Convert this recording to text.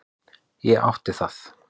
Ég átti það.